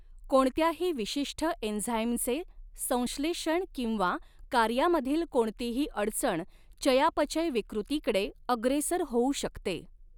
कोणत्याही विशिष्ट एंझाइमचे संश्लेषण किंवा कार्यामधील कोणतीही अडचण चयापचय विकृतीकडे अग्रेसर होऊ शकते.